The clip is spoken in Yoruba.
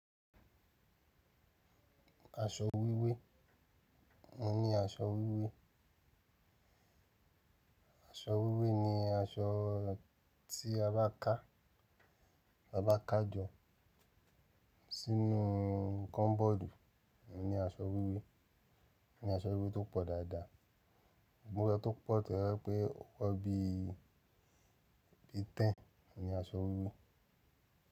Aṣọ wíwé, mo ní aṣọ wíwé. Aṣọ wíwé ni aṣọ tí a bá kà, ta bá kà jọ sínú kọ́mbọ́ọ̀dù, mo ní aṣọ wíwé. Ni aṣọ wíwé tó pọ̀ dáadáa, gbogbo ẹni tó pọ̀ tẹ́lẹ̀ pé ó wọ bí i tẹ́ń, ni aṣọ wíwé.